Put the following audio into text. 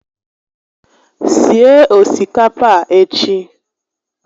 Sie osikapa a echi